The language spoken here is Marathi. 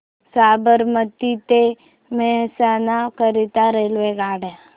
साबरमती ते मेहसाणा करीता रेल्वेगाड्या